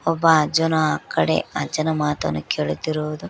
ಒಬ್ಬ ಅಜ್ಜನ ಕಡೆ ಅಜ್ಜನ ಮಾತನ್ನು ಕೇಳುತ್ತಿರುವುದು--